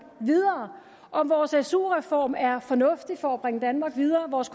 videre om vores su reform er fornuftig for at bringe danmark videre vores